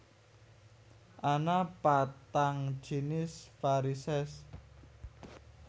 Ana patang jinis varisès